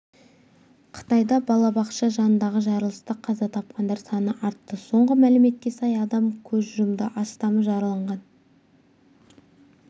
қытайда балабақша жанындағы жарылыста қаза тапқандар саны артты соңғы мәліметке сай адам көз жұмды астамы жараланған